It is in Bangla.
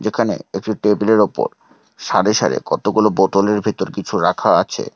যেখানে একটি টেবিল এর ওপর সারে সারে কতগুলো বোতলের ভেতর কিছু রাখা আছে।